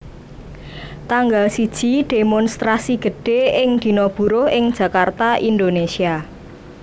Tanggal siji Démonstrasi gedhé ing Dina Buruh ing Jakarta Indonesia